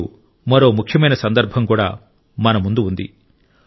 ఇప్పుడు మరో ముఖ్యమైన సందర్భం కూడా మన ముందు ఉంది